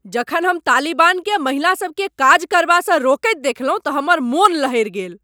जखन हम तालिबानकेँ महिलासभकेँ काज करबासँ रोकैत देखलहुँ तऽ हमर मन लहरि गेल।